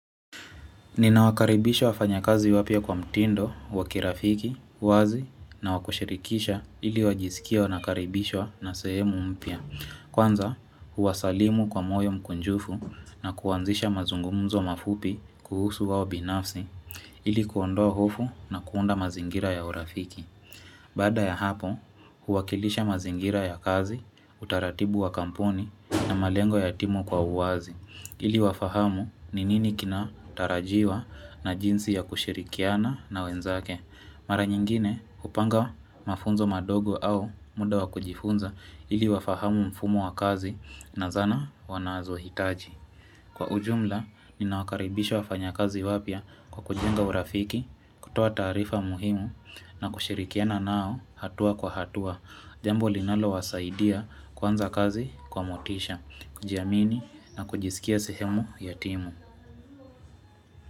Ninawakaribisha wafanyakazi wapyia kwa mtindo, wa kirafiki, uwazi na wa kushirikisha ili wajisikie wanakaribishwa na sehemu mpya. Kwanza, huwasalimu kwa moyo mkunjufu na kuanzisha mazungumzo mafupi kuhusu wao binafsi ili kuondoa hofu na kuunda mazingira ya urafiki. Baada ya hapo, huwakilisha mazingira ya kazi, utaratibu wa kampuni na malengo ya timu kwa uwazi. Ili wafahamu ni nini kinatarajiwa na jinsi ya kushirikiana na wenzake Mara nyingine hupanga mafunzo madogo au muda wa kujifunza ili wafahamu mfumo wa kazi na zana wanazohitaji Kwa ujumla ninawakaribisha wafanyakazi wapya kwa kujenga urafiki kutoa taarifa muhimu na kushirikiana nao hatua kwa hatua Jambo linalowasaidia kuanza kazi kwa motisha kujiamini na kujisikia sehemu ya timu.